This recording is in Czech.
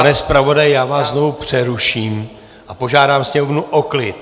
Pane zpravodaji, já vás znovu přeruším a požádám sněmovnu o klid.